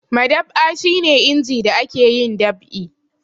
Madab'a shi ne inji da ake yin dab'i.